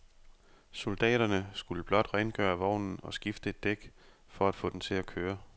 Soldaterne skulle blot rengøre vognen og skifte et dæk for at få den til at køre.